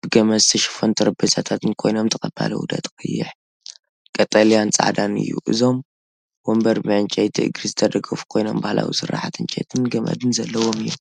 ብገመድ ዝተሸፈኑ ጠረጴዛታትን ኮይኖም፤ ተቐባሊ ውህደት ቀይሕ፡ቀጠልያን ጻዕዳን እዩ። እዞም መንበር ብዕንጨይቲ እግሪ ዝተደገፉ ኮይኖም ባህላዊ ስርሓት ዕንጨይትን ገመድን ዘለዎም እዮም።